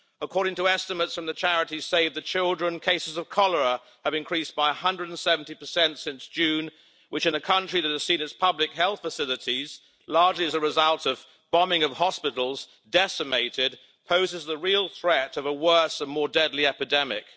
According to estimates from the charity Save the Children, cases of cholera have increased by 170 since June, which in a country that has seen its public health facilities largely as a result of bombing of hospitals decimated, poses the real threat of a worse and more deadly epidemic.